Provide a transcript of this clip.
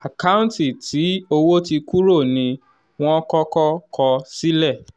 àkáǹtì tí owó ti kúrò ní wọ́n kọ́kọ́ kọ sílẹ̀.